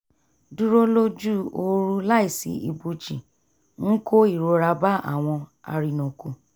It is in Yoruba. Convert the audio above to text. dúró lójú ooru láìsí ibòji ń kó ìrora bá àwọn arìnàkò